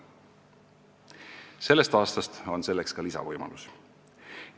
Sellest aastast on selleks ka lisavõimalus.